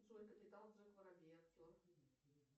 джой капитан джек воробей актер